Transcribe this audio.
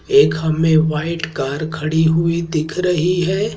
एक हमें white car खड़ी हुई दिख रही है।